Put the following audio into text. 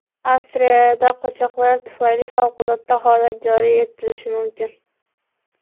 Avstriyada qochoqlar tufayli favqulodda holat joriy etilishi mumkin.